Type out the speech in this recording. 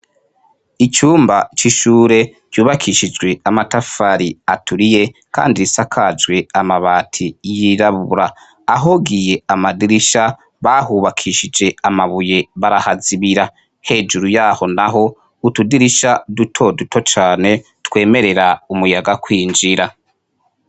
Icumba c' ishure cubakishijwe amatafari aturiye kandi isakajwe amabati yirabura ahogiye amadirisha bahubakishije amabuye barahazibira hejuru yaho naho utudirisha duto duto cane twemerera umuyaga kwinjira.